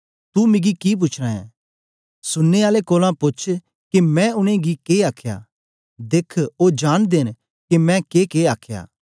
तू मिगी कि पूछना ऐं सुनने आलें कोलां पोछ के मैं उनेंगी के आखया देख ओ जांनदे न के मैं केके आखया